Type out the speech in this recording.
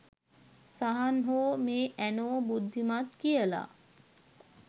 සහන් හෝ මේ ඇනෝ බුද්ධිමත් කියලා